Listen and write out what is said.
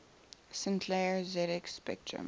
sinclair zx spectrum